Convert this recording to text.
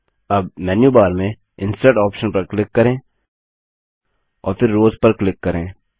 अब मेन्यूबार में insert option पर क्लिक करें और फिर रॉस पर क्लिक करें